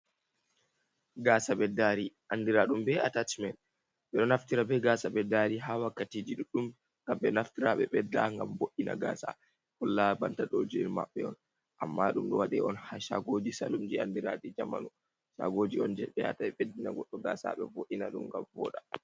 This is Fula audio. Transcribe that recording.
Gasa beddari andira ɗum be atacmen, ɓe ɗo naftira be gasa ɓeddari ha wakkatiji ɗuɗɗum ngam ɓe naftira ɓe ɓeɗɗa ngam bo’’ina gasa holla banta ɗo je maɓɓe on. Amma ɗum ɗo waɗe on ha shagoji salunji andiraji jamanu, shagoji on je ɓe yata ɓeddina goɗɗo gasa ɓe bo’’ina ɗum ngam boda.